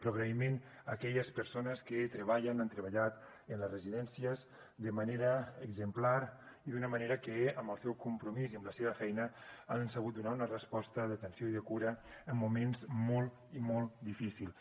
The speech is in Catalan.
però agraïment a aquelles persones que treballen han treballat en les residències de manera exemplar i d’una manera que amb el seu compromís i amb la seva feina han sabut donar una resposta d’atenció i de cura en moments molt i molt difícils